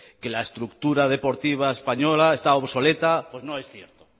que la estructura deportiva española está obsoleta pues no es cierto